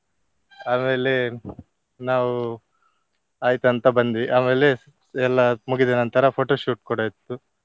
ಆಮೇಲೆ ನಾವು ಆಯ್ತಂತ ಬಂದ್ವಿ. ಆಮೇಲೆ ಎಲ್ಲಾ ಮುಗಿದ ನಂತರ photoshoot ಕೂಡ ಇತ್ತು.